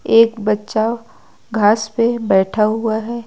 एक बच्चा घास पे बैठा हुआ है।